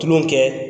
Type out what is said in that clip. Tulon kɛ